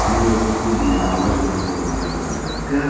минуя пустынные развалины какого-то маленького городка